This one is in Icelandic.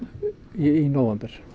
í nóvember